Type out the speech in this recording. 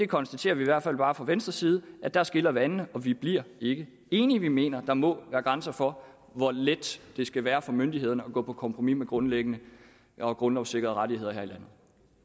konstaterer i hvert fald bare fra venstres side at der skiller vandene vi bliver ikke enige vi mener at der må være grænser for hvor let det skal være for myndighederne at gå på kompromis med grundlæggende og grundlovssikrede rettigheder her i landet